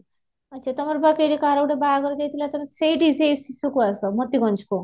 ଆଚ୍ଛା, ତମର ବା କୋଉଠି କାହାର ଗୋଟେ ବାହାଘର ଯାଇଥିଲା ତମେ ସେଇଠି ଆସ ମୋତିଗଞ୍ଜ କୁ